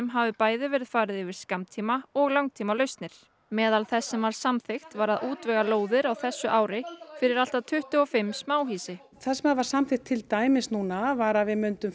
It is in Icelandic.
hafi bæði verið farið yfir skammtíma og langtímalausnir meðal þess sem var samþykkt var að útvega lóðir á þessu ári fyrir allt að tuttugu og fimm smáhýsi það sem var samþykkt til dæmis núna var að við myndum